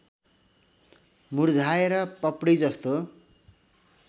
मुरझाएर पपडी जस्तो